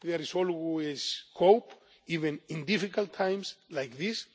There is always hope, even in difficult times like